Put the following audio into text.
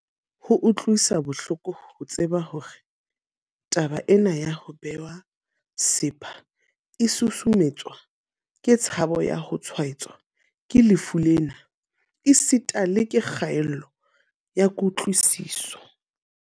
Ho utlwisa bohloko ho tseba hore taba ena ya ho bewa sepha e susumetswa ke tshabo ya ho tshwaetswa ke lefu lena esita le ke kgaello ya kutlwisiso.